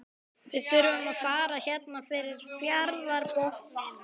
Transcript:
Við þurfum að fara hérna fyrir fjarðarbotninn.